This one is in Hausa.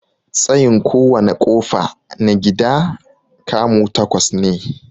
Tsayin kowana ƙofa na gida 'kamu' takwas ne.